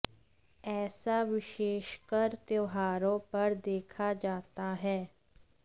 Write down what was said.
ऐसा विशेषकर त्योहारों पर देखा जाता है